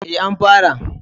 E, an fara.